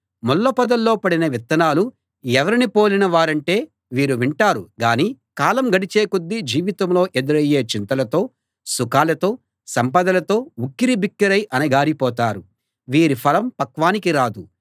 ముళ్ళ పొదల్లో పడిన విత్తనాలు ఎవరిని పోలిన వారంటే వీరు వింటారు గానీ కాలం గడిచే కొద్దీ జీవితంలో ఎదురయ్యే చింతలతో సుఖాలతో సంపదలతో ఉక్కిరి బిక్కిరై అణగారి పోతారు వీరి ఫలం పక్వానికి రాదు